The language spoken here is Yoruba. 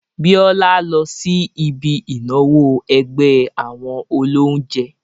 Bíọ́lá lọ sí ibi ìnáwó ẹgbẹ́ àwọn olóunjẹ́